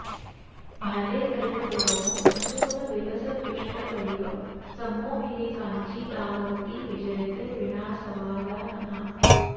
भाले कल्पतरोः प्रसूनविलसदृष्ट्वैव सम्मोहिनी काञ्ची दामवती विजयते वीणासवादानना